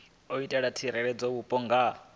itela u tsireledza vhupo nga